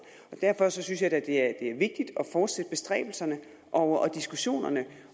derfor synes jeg da det er vigtigt at fortsætte bestræbelserne og diskussionerne